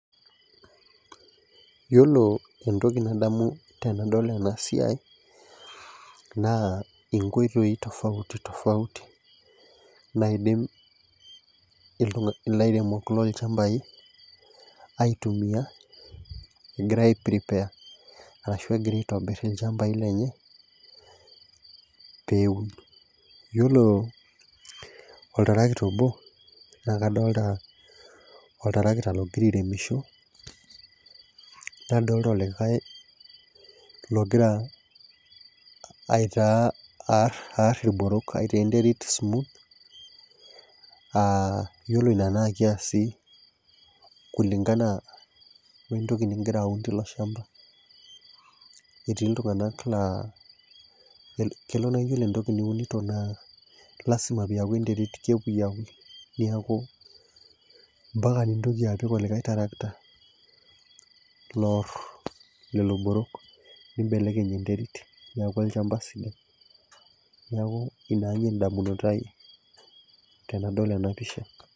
iyiolo entoki nadamu tenadol ena siai, naa inkoitoi tofauti tofauti naidim ilairemok lolochampai aitumia, egira ai prepare arashu egira aitobir ilchampai, lenye peeun. iyiolo oltarakita obo, naa kadolita oltarakita ogira airemisho, nadoolta olikae logira aitaa, aar aar iloborok, aitaa enterit smooth aa iyiolo ina naa kesi kulingan we ntoki nigira aun teilo shampa, etii iltungank laa kelo naa iyiolo entoki, niunito naa lasima pee eyaki enteri kepuyiapui. neeku mpak nintoki apik olikae tarakita. loor lelo borok. nibelekeny enterit, neeku olchampa sidai. neku ina edamunoto ia tenadol ena pisha.